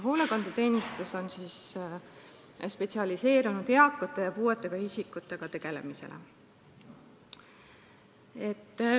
Hoolekandeteenistus on spetsialiseerunud eakate ja puuetega isikutega tegelemisele.